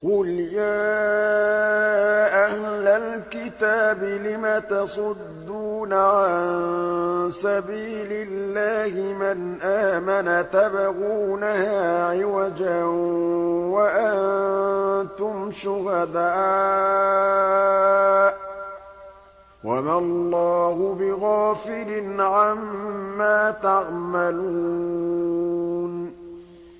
قُلْ يَا أَهْلَ الْكِتَابِ لِمَ تَصُدُّونَ عَن سَبِيلِ اللَّهِ مَنْ آمَنَ تَبْغُونَهَا عِوَجًا وَأَنتُمْ شُهَدَاءُ ۗ وَمَا اللَّهُ بِغَافِلٍ عَمَّا تَعْمَلُونَ